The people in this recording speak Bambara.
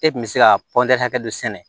E kun bɛ se ka hakɛ dɔ sɛnɛ